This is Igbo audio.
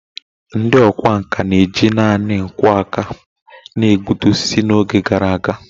Ndị ọkwá nkà na-eji nanị nkwọ aka na-egbutu osisi n’oge gara aga